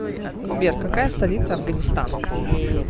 сбер какая столица афганистан